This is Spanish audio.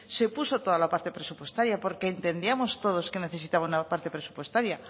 se puso toda la parte presupuestaria porque entendíamos todos que necesitaba una parte presupuestaria